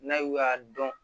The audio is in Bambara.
N'a y'u y'a dɔn